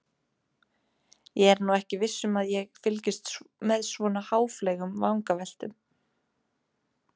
Ég er nú ekki viss um að ég fylgist með svona háfleygum vangaveltum.